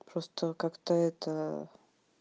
просто как-то это